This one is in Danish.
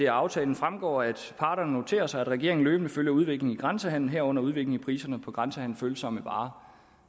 aftalen fremgår at parterne noterer sig at regeringen løbende følger udviklingen i grænsehandelen herunder udviklingen i priserne på grænsehandelsfølsomme varer